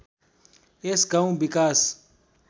यस गाउँ विकास